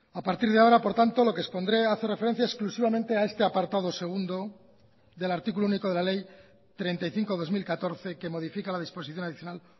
a partir de ahora por tanto lo que expondré a hacer referencia exclusivamente a este apartado segundo del artículo único de la ley treinta y cinco barra dos mil catorce que modifica la disposición adicional